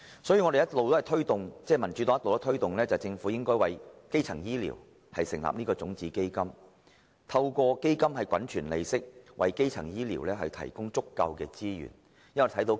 正因如此，民主黨一直推動政府為基層醫療成立種子基金，透過基金滾存利息，為基層醫療提供足夠的資源。